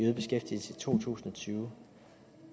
to tusind og tyve